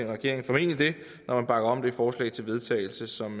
regeringen formentlig det når man bakker om det forslag til vedtagelse som